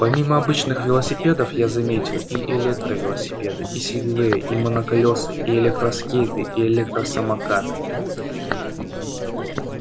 помимо обычных велосипедов я заметил и электровелосипеды и сегвеи и моноколёса и электроскейты и электросамокаты